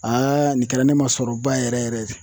Aa nin kɛra ne ma sɔrɔba yɛrɛ yɛrɛ ye